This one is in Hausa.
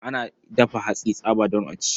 Ana dafa hatsi tsaba don a ci.